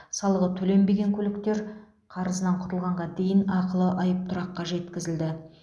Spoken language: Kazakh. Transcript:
салығы төленбеген көліктер қарызынан құтылғанға дейін ақылы айыптұраққа жеткізілді